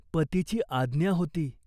पतीची आज्ञा होती.